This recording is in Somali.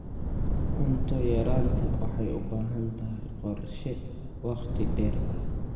Cunto yaraantu waxay u baahan tahay qorshe wakhti dheer ah.